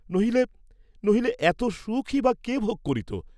নহিলে, নহিলে এত সুখই বা কে ভোগ করিত?